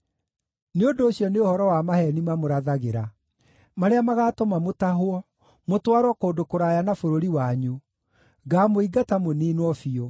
Nĩ ũndũ ũcio nĩ ũhoro wa maheeni mamũrathagĩra, marĩa magaatũma mũtahwo, mũtwarwo kũndũ kũraya na bũrũri wanyu; ngamũingata, mũniinwo biũ.